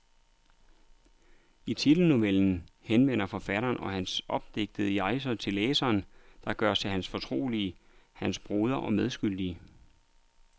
I titelnovellen henvender forfatteren eller hans opdigtede jeg sig til læseren, der gøres til hans fortrolige, hans broder og medskyldige.